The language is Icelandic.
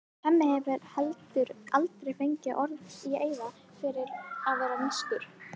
Hemmi hefur heldur aldrei fengið orð í eyra fyrir að vera nískur.